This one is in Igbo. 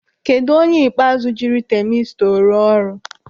Kedụ onye ikpeazụ jiri tamistọ rụọ ọrụ?